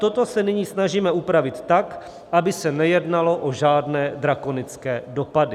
Toto se nyní snažíme upravit tak, aby se nejednalo o žádné drakonické dopady.